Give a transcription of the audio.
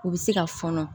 U bɛ se ka fɔnɔ